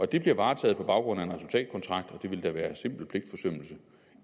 det bliver varetaget på baggrund af en resultatkontrakt og det ville da være simpel pligtforsømmelse